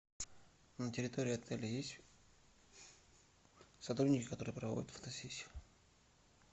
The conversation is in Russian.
на территории отеля есть сотрудники которые проводят фотосессии